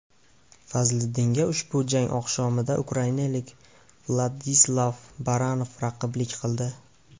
Fazliddinga ushbu jang oqshomida ukrainalik Vladislav Baranov raqiblik qildi.